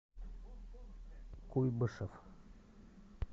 куйбышев